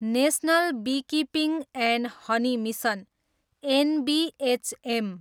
national beekeeping and honey mission, NBHM